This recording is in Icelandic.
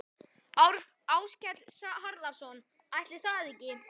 Áskell Harðarson: Ætli það ekki?